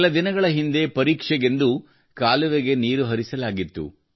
ಕೆಲ ದಿನಗಳ ಹಿಂದೆ ಪರೀಕ್ಷೆಗೆಂದು ಕಾಲುವೆಗೆ ನೀರು ಹರಿಸಲಾಗಿತ್ತು